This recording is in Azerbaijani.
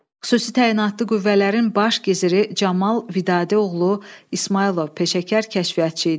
Xüsusi təyinatlı qüvvələrin baş giziri Camal Vidadi oğlu İsmayılov peşəkar kəşfiyyatçı idi.